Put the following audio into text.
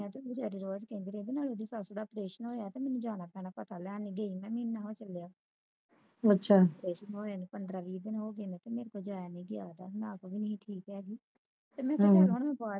ਤੇ ਆਉਦੇ ਬਾਅਦ ਕਹਿੰਦੀ ਰਹਿੰਦੀ ਨਾਲੇ ਉਹਦੀ ਸੱਸ ਦਾ operation ਹੋਇਆ ਤੇ ਮੈਨੂੰ ਜਾਣਾ ਪੈਣਾ ਪਤਾ ਲੈਣ ਗਈ ਨਹੀਂ ਮੈਂ ਮਹਿਨਾ ਹੋ ਚਲਿਆ ਪੰਦਰਾ ਵੀ ਦਿਨ ਹੋ ਗਏ ਕੇ ਮੈਥੋਂ ਜਾਇਆ ਨੀ ਗਿਆ ਗਾ ਨਾ ਆਪ ਵੀ ਠੀਕ ਹੈਗੀ